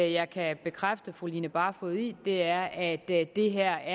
jeg kan bekræfte fru line barfod i er at det her